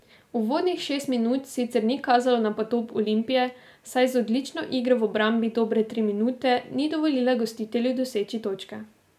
Uvodnih šest minut sicer ni kazalo na potop Olimpije, saj z odlično igro v obrambi dobre tri minute ni dovolila gostitelju doseči točke.